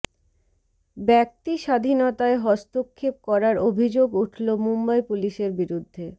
ব্যক্তি স্বাধীনতায় হস্তক্ষেপ করার অভিযোগ উঠল মুম্বই পুলিসের বিরুদ্ধে